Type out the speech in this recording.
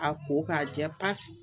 A ko k'a jɛ pasi